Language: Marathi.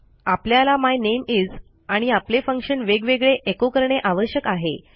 आपल्याला माय नामे इस आणि आपले फंक्शन वेगवेगळे एको करणे आवश्यक आहे